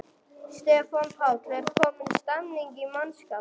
Stefán Páll: Er komin stemning í mannskapinn?